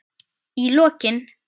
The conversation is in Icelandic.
Í lokin.